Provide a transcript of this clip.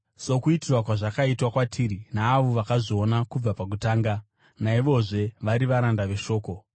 sokuturirwa kwazvakaitwa kwatiri neavo vakazviona kubva pakutanga naivozve vari varanda veshoko.